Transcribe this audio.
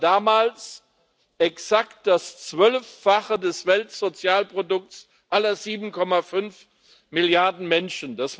das war damals exakt das Zwölffache des Weltsozialprodukts aller 7,5 Milliarden Menschen.